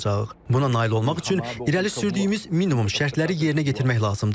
Buna nail olmaq üçün irəli sürdüyümüz minimum şərtləri yerinə yetirmək lazımdır.